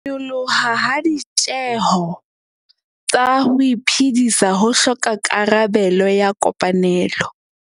Ho nyoloha ha ditjeho tsa ho iphedisa ho hloka karabelo ya kopanelo